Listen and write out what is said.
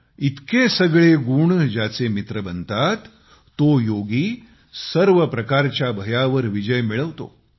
इतके सगळे गुण ज्याचे मित्र बनतात तो योगी सर्व प्रकारच्या भयावर विजय मिळवतो